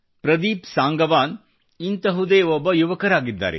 ಪ್ರದೀಪ್ ಸಂಗವಾನ್ ಇಂಥದೇ ಒಬ್ಬ ಯುವಕರಾಗಿದ್ದಾರೆ